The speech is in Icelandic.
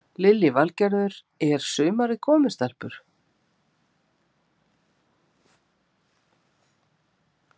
Lillý Valgerður: Er sumarið komið stelpur?